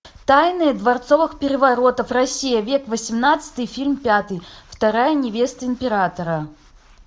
тайны дворцовых переворотов россия век восемнадцатый фильм пятый вторая невеста императора